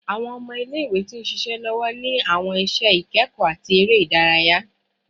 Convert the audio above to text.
Awọn ọmọ ile-iwe ti nṣiṣe lọwọ ni awọn iṣẹ ikẹkọ ati ere idaraya